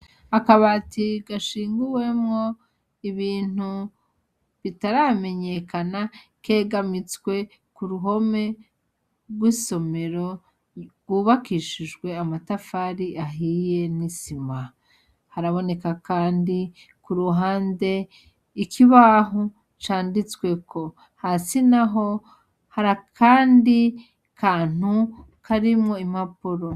Akabati gashinguwemwo ibintu bitaramenyekana kegamitswe k'uruhome rw'isomero rwubakishijwe amatafari ahiye n'isima, haraboneka kandi kuruhande ikibaho canditsweko hasi naho har'akandi kantu karimwo impapuro.